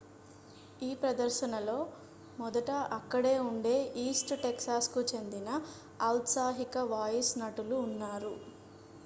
ఈ ప్రదర్శనలో మొదట అక్కడే ఉండే east texasకు చెందిన ఔత్సాహిక వాయిస్ నటులు ఉన్నారు